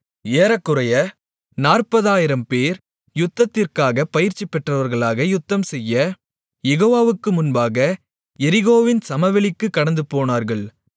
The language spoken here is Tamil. ஏறக்குறைய 40000 பேர் யுத்தத்திற்காக பயிற்சிபெற்றவர்களாக யுத்தம்செய்ய யெகோவாவுக்கு முன்பாக எரிகோவின் சமவெளிகளுக்குக் கடந்துபோனார்கள்